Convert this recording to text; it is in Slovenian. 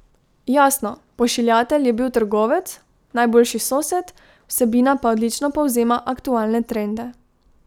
Jasno, pošiljatelj je bil trgovec, najboljši sosed, vsebina pa odlično povzema aktualne trende.